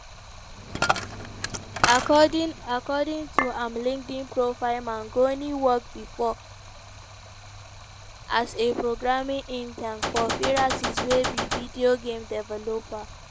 according according to im linkedin profile mangione work bifor as a programming intern for firaxis wey be video game developer.